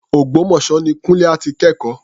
Ògbómọ̀ṣọ́ ni Kúńlé á ti kẹ́kọ̀ọ́.